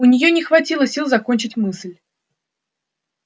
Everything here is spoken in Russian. у нее не хватило сил закончить мысль